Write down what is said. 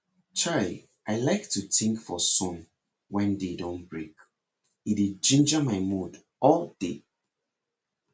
chai i like to think for sun wen day don break e dey ginger my mood all day